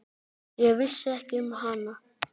Ég vissi ekki um hana.